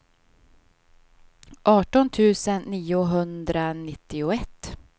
arton tusen niohundranittioett